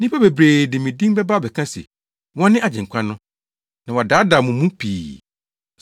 Nnipa bebree de me din bɛba abɛka se, wɔne Agyenkwa no, na wɔadaadaa mo mu pii.